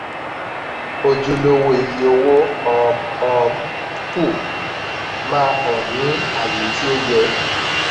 ojúlówó iye owó um um kù máa hàn ní àyé tó yẹ.